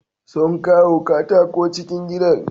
Sun kawo katako cikin gidan.